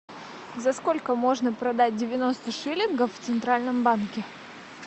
за сколько можно продать девяносто шиллингов в центральном банке